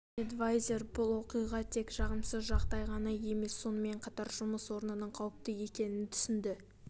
эдвайзер бұл оқиға тек жағымсыз жағдай ғана емес сонымен қатар жұмыс орнының қауіпті екенін түсінді